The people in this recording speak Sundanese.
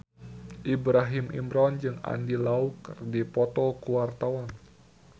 Ibrahim Imran jeung Andy Lau keur dipoto ku wartawan